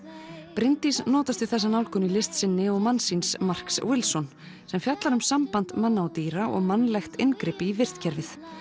Bryndís notast við þessa nálgun í list sinni og manns síns Marks sem fjallar um samband manna og dýra og mannlegt inngrip í vistkerfið